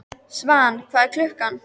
Svan, hvað er klukkan?